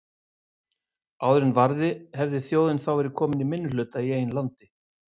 Áður en varði hefði þjóðin þá verið komin í minnihluta í eigin landi.